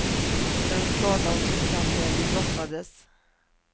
Den skadan fick han när vi brottades.